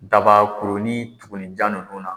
Daba kurunin tugunninjan ninnu na